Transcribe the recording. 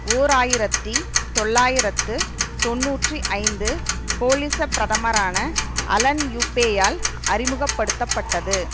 ஓர் ஆயிரத்தி தொள்ளாயிரத்து தொன்னூற்றி ஐந்து கோலிச பிரதமரான அலன் யூப்பேயால் அறிமுக படுத்த பட்டது